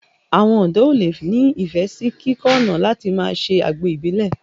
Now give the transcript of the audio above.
Àwọn ọ̀dọ́ ó le ni ifẹ sì kíkọ́ ọ̀nà láti máa ṣe àgbo Ìbílẹ̀